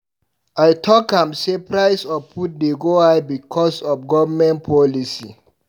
I talk am sey price of food dey go high because of government policy.